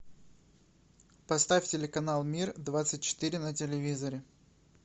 поставь телеканал мир двадцать четыре на телевизоре